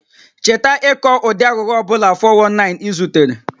Cheta ịkọ ụdị aghụghọ ọ bụla (419) ị zutere